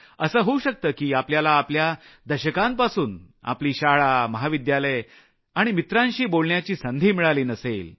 असं होऊ शकतं की आपल्याला आपल्या दशकांपासून आपली शाळा महाविद्यालय आणि मित्रांशी बोलण्याची संधी मिळाली नसेल